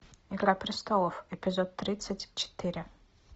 игра престолов эпизод тридцать четыре